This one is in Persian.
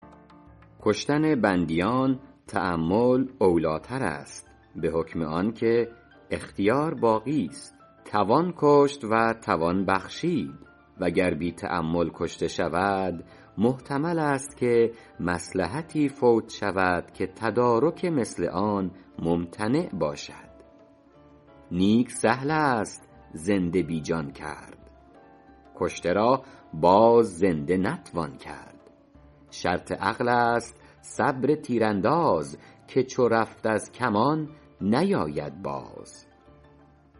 کشتن بندیان تأمل اولی تر است به حکم آن که اختیار باقیست توان کشت و توان بخشید و گر بی تأمل کشته شود محتمل است که مصلحتی فوت شود که تدارک مثل آن ممتنع باشد نیک سهل است زنده بی جان کرد کشته را باز زنده نتوان کرد شرط عقل است صبر تیرانداز که چو رفت از کمان نیاید باز